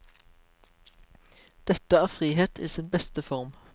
Dette er frihet i sin beste form.